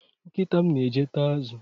Nkịta m na-eje taa azụ